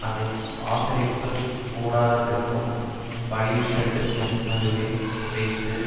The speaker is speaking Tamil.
அதை ஆசரிப்புக் கூடாரத்திற்கும் பலி பீடத்திற்கும் நடுவே வைத்து